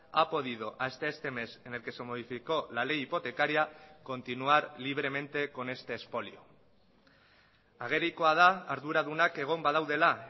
ha podido hasta este mes en el que se modificó la ley hipotecaria continuar libremente con este expolio agerikoa da arduradunak egon badaudela